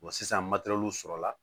sisan sɔrɔla